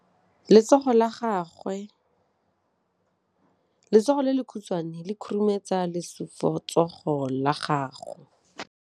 Letsogo le lekhutshwane le khurumetsa lesufutsogo la gago.